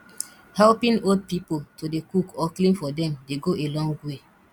helping old pipo to dey cook or clean for dem dey go a long way